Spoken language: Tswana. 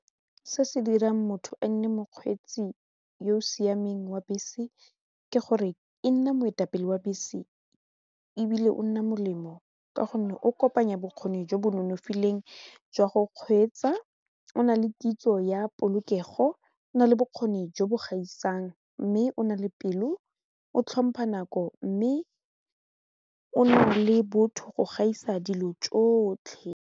Se se dirang motho e nne mokgweetsi yo o siameng wa bese ke gore e nne moetapele wa bese ebile o nna molemo ka gonne o kopanya bokgoni jo bo nonofileng jwa go kgweetsa, o na le kitso ya polokego o nale bokgoni jo bo gaisang mme o na le pelo, o tlhompa nako mme o na le botho go gaisa dilo tsotlhe.